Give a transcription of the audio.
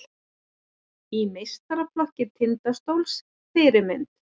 Í meistaraflokk Tindastóls Fyrirmynd?